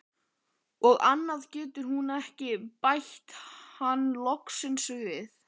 Og annað getur hún ekki, bætti hann loksins við.